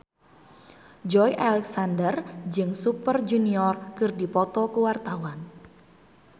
Joey Alexander jeung Super Junior keur dipoto ku wartawan